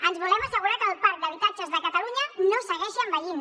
ens volem assegurar que el parc d’habitatges de catalunya no segueixi envellint